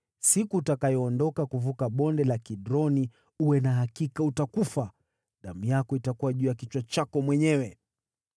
Siku utakayoondoka kuvuka Bonde la Kidroni, uwe na hakika utakufa; damu yako itakuwa juu ya kichwa chako mwenyewe.”